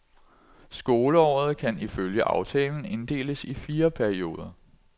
Skoleåret kan ifølge aftalen inddeles i fire perioder.